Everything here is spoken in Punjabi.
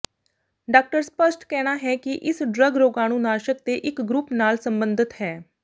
ਡਾਕਟਰ ਸਪੱਸ਼ਟ ਕਹਿਣਾ ਹੈ ਕਿ ਇਸ ਡਰੱਗ ਰੋਗਾਣੂਨਾਸ਼ਕ ਦੇ ਇੱਕ ਗਰੁੱਪ ਨਾਲ ਸਬੰਧਿਤ ਹੈ